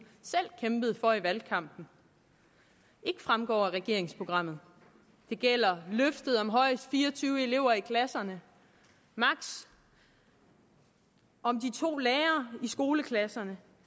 selv kæmpede for i valgkampen ikke fremgår af regeringsprogrammet det gælder løftet om højst fire og tyve elever i klasserne og om de to lærere i skoleklasserne